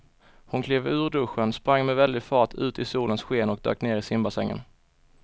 Hon klev ur duschen, sprang med väldig fart ut i solens sken och dök ner i simbassängen.